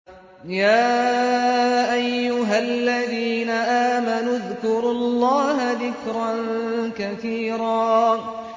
يَا أَيُّهَا الَّذِينَ آمَنُوا اذْكُرُوا اللَّهَ ذِكْرًا كَثِيرًا